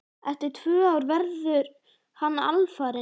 Eftir tvö ár verður hann alfarinn.